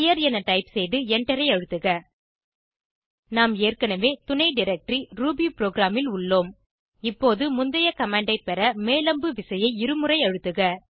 clear என type செய்து எண்டரை அழுத்துக நாம் ஏற்கனவே துணை டைரக்டரி ரூபிபுரோகிராம் ல் உள்ளோம் இப்போது முந்தைய கமாண்ட் ஐ பெற மேல் அம்பு விசையை இருமுறை அழுத்துக